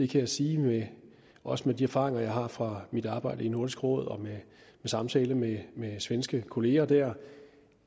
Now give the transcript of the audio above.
kan jeg sige også med de erfaringer jeg har fra mit arbejde i nordisk råd og ved samtale med svenske kolleger der